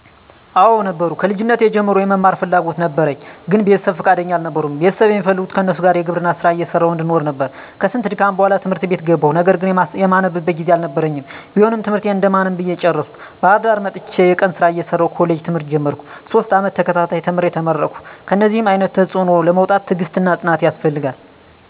*አወ ነበሩ፦ ከልጅነቴ ጀምሮ የመማር ፍላጎት ነበረኝ ግን ቤተሰብ ፍቃደኛ አልነበሩም ቤተሰብ የሚፈልጉት ከነሱ ጋር የግብርና ስራ እየሰራሁ እንድኖር ነበር፤ ከስንት ድካም በኋላ ት/ት ቤት ገባሁ ነገር ግን የማነብበት ጊዜ አልነበረኝም ቢሆንም ትምህርቴን እንደማንም ብዬ ጨርሸ፤ ባህርዳር መጥቸ የቀን ስራ እየሰራሁ ኮሌጅ ትምህርት ጀመርኩ፤ ሶስት አመት ተከታታይ ተምሬ ተመረከሁ። ከእነደዚህ አይነት ተፅዕኖ ለመውጣት ትግስትና ፅናት ያስፈልጋል።